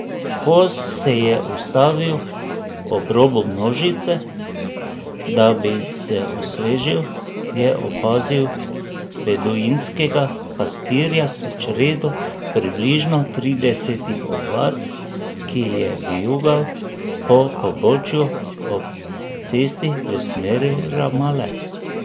Ko se je ustavil ob robu množice, da bi se osvežil, je opazil beduinskega pastirja s čredo približno tridesetih ovac, ki je vijugal po pobočju ob cesti v smeri Ramale.